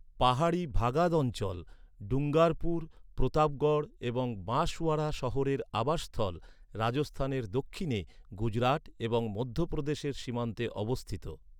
পাহাড়ি ভাগাদ অঞ্চল, ডুঙ্গারপুর, প্রতাপগড় এবং বাঁশওয়ারা শহরের আবাসস্থল, রাজস্থানের দক্ষিণে, গুজরাট এবং মধ্যপ্রদেশের সীমান্তে অবস্থিত।